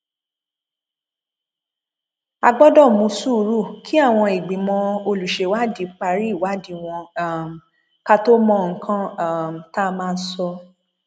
a gbọdọ mú sùúrù kí àwọn ìgbìmọ olùṣèwádìí parí ìwádìí wọn um ká tóó mọ nǹkan um tá a máa sọ